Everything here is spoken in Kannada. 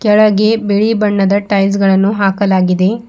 ಕೆಳಗೆ ಬಿಳಿ ಬಣ್ಣದ ಟೈಲ್ಸ್ ಗಳನ್ನು ಹಾಕಲಾಗಿದೆ.